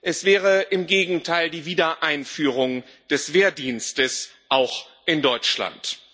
Es wäre im Gegenteil die Wiedereinführung des Wehrdienstes, auch in Deutschland.